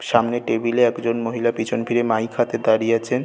সামনে টেবিল একজন মহিলা পিছন ফিরে মাইক হাতে দাঁড়িয়ে আছেন।